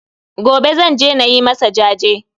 Gobe Zan je nayi masa jaje